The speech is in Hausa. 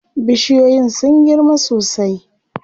Bishiyoyin sun girma sosai.